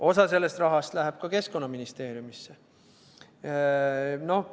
Osa sellest rahast läheb ka Keskkonnaministeeriumisse.